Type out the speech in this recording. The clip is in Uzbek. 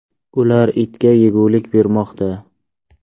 Ular itga yegulik bermoqda.